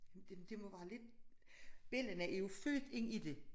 Det må være lidt bellana er jo født ind i det